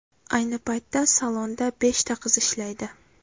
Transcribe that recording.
Ayni paytda salonda beshta qiz ishlaydi.